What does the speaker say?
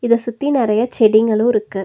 இத சுத்தி நறைய செடிங்களோ இருக்கு.